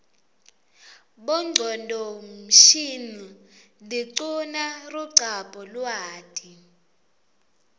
bonqconduo msihnl diquna ruqabo luati